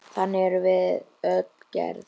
Þannig erum við öll gerð.